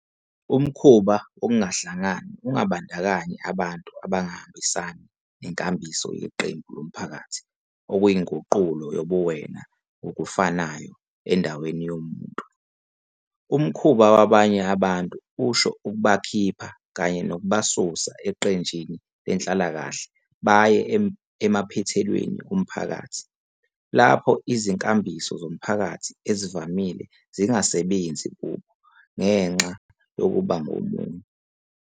Umkhuba Wokungahlangani ungabandakanyi abantu abangahambisani nenkambiso yeqembu lomphakathi, okuyinguqulo yobuwena ngokufanayo, endaweni yomuntu, umkhuba wabanye abantu usho ukubakhipha kanye nokubasusa eqenjini lenhlalakahle baye emaphethelweni omphakathi, lapho izinkambiso zomphakathi ezivamile zingasebenzi kubo, ngenxa yokuba ngomunye.